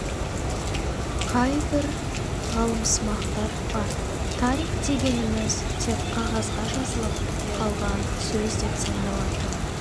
қайбір ғалымсымақтар бар тарих дегеніміз тек қағазға жазылып қалған сөз деп сандалатын